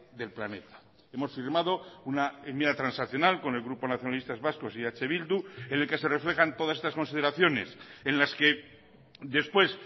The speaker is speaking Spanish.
del planeta hemos firmado una enmienda transaccional con el grupo nacionalistas vascos y eh bildu en el que se reflejan todas estas consideraciones en las que después